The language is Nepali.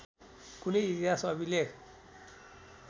कुनै इतिहास अभिलेख